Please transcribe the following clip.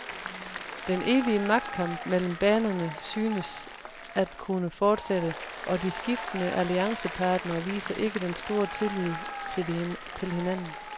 Den evige magtkamp mellem banerne synes at kunne fortsætte, og de skiftende alliancepartnere viser ikke den store tillid til hinanden.